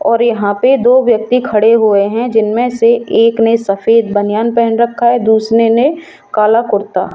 और यहां पे दो व्यक्ति खड़े हुए हैं जिनमें से एक ने सफेद बनियान पहन रखा है दूसरे ने काला कुर्ता।